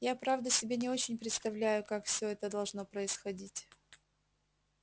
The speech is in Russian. я правда себе не очень представляю как все это должно происходить